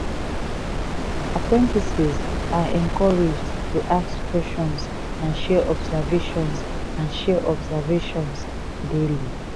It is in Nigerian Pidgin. apprentices are encouraged to ask questions and share observations and share observations daily.